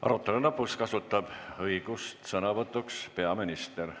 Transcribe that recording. Arutelu lõpus kasutab õigust sõna võtta peaminister.